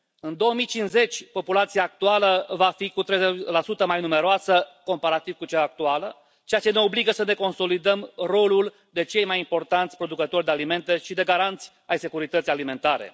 În 2050, populația va fi cu 30 mai numeroasă comparativ cu cea actuală, ceea ce ne obligă să ne consolidăm rolul de cei mai importanți producători de alimente și de garanți ai securității alimentare.